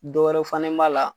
Dɔw wɛrɛ fanɛ b'a la.